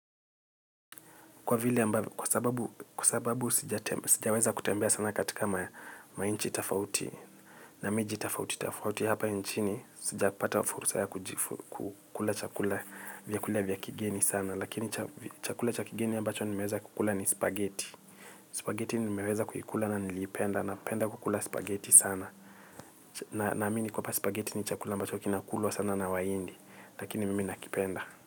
Kwa sababu sijaweza kutembea sana katika mainchi tofauti. Na miji tofauti tofauti hapa nchini sijapata fursa ya kukula chakula vyakula vya kigeni sana. Lakini chakula cha kigeni ambacho nimeweza kukula ni spagheti. Spagheti nimeweza kuikula na niliipenda napenda kukula spagheti sana. Naamini kuwa spagheti ni chakula ambacho kinakulwa sana na wahindi. Lakini mimi nakipenda.